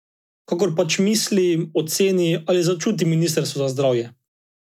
Kakor pač misli, oceni ali začuti ministrstvo za zdravje!